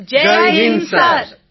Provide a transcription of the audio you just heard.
બધા NCC cadet Jai Hind sir